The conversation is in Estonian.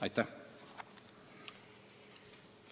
Aitäh!